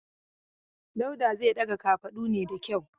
Dauda zai daga kafafadu ne da kyau.